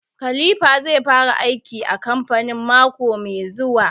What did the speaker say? Khalipha zai fara aiki a kamfani mako mai zuwa